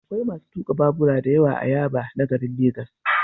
Akwai masu tuka babura da yawa a Yaba na garin Legas.